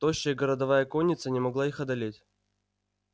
тощая городовая конница не могла их одолеть